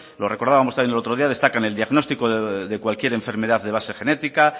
lo recordábamos también el otro día destacan el diagnóstico de cualquier enfermedad de base genética